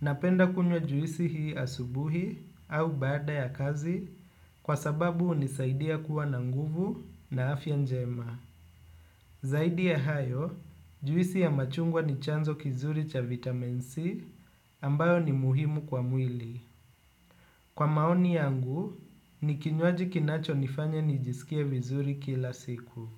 Napenda kunywa juisi hii asubuhi au baada ya kazi kwa sababu hunisaidia kuwa na nguvu na afya njema. Zaidi ya hayo, juisi ya machungwa ni chanzo kizuri cha vitamin C ambayo ni muhimu kwa mwili. Kwa maoni yangu, ni kinywaji kinachonifanya nijisikie vizuri kila siku.